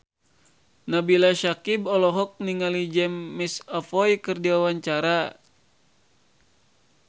Nabila Syakieb olohok ningali James McAvoy keur diwawancara